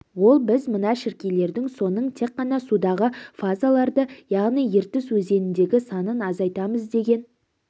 ол біз мына шіркейлердің соның тек қана судағы фазаларды яғни ертіс өзеніндегі санын азайтамыз деген